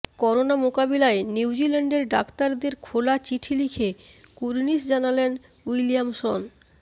corona মোকাবিলায় নিউজিল্যান্ডের ডাক্তারদের খোলা চিঠি লিখে কুর্নিশ জানালেন উইলিয়ামসন